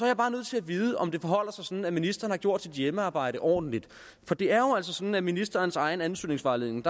er bare nødt til at vide om det forholder sig sådan at ministeren har gjort sit hjemmearbejde ordentligt for det er jo altså sådan at der i ministerens egen ansøgningsvejledning